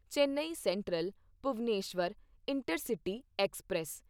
Chennai central Bhubaneswar intercity express